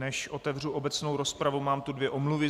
Než otevřu obecnou rozpravu, mám tu dvě omluvy.